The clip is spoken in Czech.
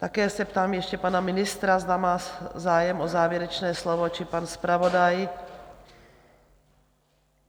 Také se ptám ještě pana ministra, zda má zájem o závěrečné slovo, či pan zpravodaj?